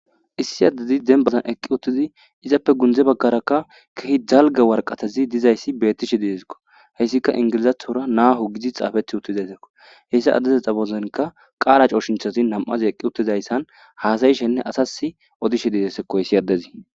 Issi adey denibazan eqi utidi izape guye bagara kehipe daliga wariqateti betishe de'esko izi Englizathora naho gizi xapetida xupe qala cosinthati na'azi eqi utizaysan hasayishenee asasi odishe dizayisako hesi adezi